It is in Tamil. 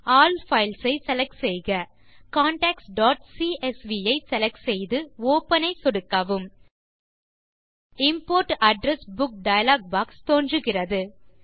ஆல் பைல்ஸ் ஐ செலக்ட் செய்க contactsசிஎஸ்வி ஐ செலக்ட் செய்து ஒப்பன் ஐ சொடுக்கவும் import address book dialog box தோன்றுகிறது